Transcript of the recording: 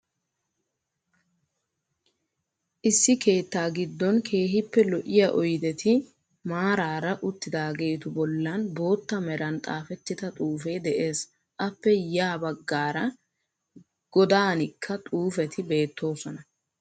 Issi keettaa giddon keehippe lo'iya oydeti maaraara uttidaageetu bollan bootta meran xaafettida xuufee de'ees. Appe ya baggaara godaanikka xuufeti beettoosona.